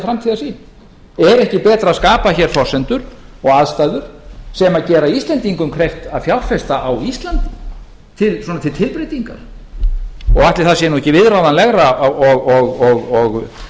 framtíðarsýn er ekki betra að skapa hér forsendur og aðstæður sem gera íslendingum kleift að fjárfesta á íslandi svona til tilbreytingar og ætli það sé nú ekki viðráðanlegra og